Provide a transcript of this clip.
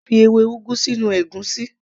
A lè fi ewé ugu sínú ègúsí